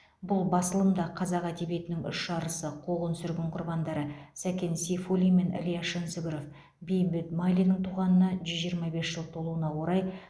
бұл басылым да қазақ әдебиетінің үш арысы қуғын сүргін құрбандары сәкен сейфуллин мен ілияс жансүгіров бейімбет майлиннің туғанына жүз жиырма бес жыл толуына орай